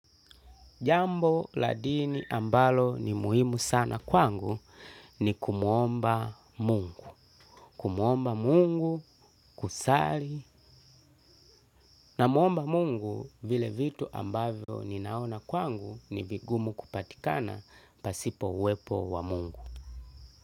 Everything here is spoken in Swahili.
Jambo la dini ambalo ni muhimu sana kwangu, ni kumuomba Mungu, kumuomba Mungu, kusali, Namuomba Mungu, vile vitu ambavyo ninaona kwangu, ni vigumu kupatikana pasipo uwepo wa Mungu.